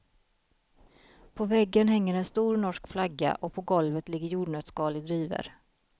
På väggen hänger en stor norsk flagga och på golvet ligger jordnötsskal i drivor.